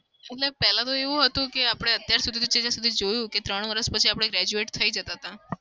અલ્યા પેલા તો એવું હતું કે આપડે અત્યાર સુધી જે જોયું કે ત્રણ વરસ પછી આપડે graduate થઇ જતા હતા.